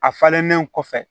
A falennen kɔfɛ